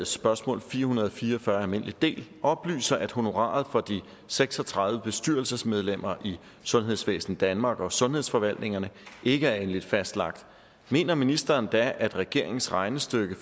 spørgsmål fire hundrede og fire og fyrre oplyser at honoraret for de seks og tredive bestyrelsesmedlemmer i sundhedsvæsen danmark og sundhedsforvaltningerne ikke er endeligt fastlagt mener ministeren da at regeringens regnestykke